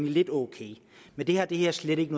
lidt ok men det har det her slet ikke